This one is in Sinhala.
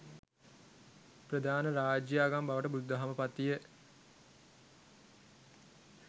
ප්‍රධාන රාජ්‍යාගම බවට බුදුදහම පත්විය.